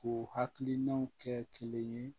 K'u hakilinaw kɛ kelen ye